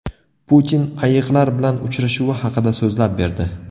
Putin ayiqlar bilan uchrashuvi haqida so‘zlab berdi.